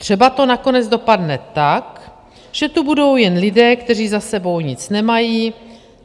Třeba to nakonec dopadne tak, že tu budou jen lidé, kteří za sebou nic nemají.